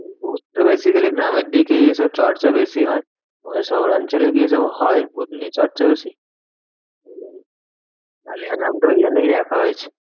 ভুত তো basically গ্রামের দিকেই এইসব চর্চা বেশি হয়। আমাদের শহরাঞ্চলে কি এইসব হয় ভুত নিয়ে চর্চা বেশি? আলেয়া নামটা ওই জন্যই রাখা হয়েছে।